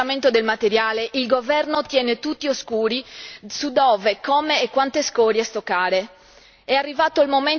A pochi giorni dallo smistamento del materiale, il governo tiene tutti all'oscuro su dove, come e quante scorie stoccare.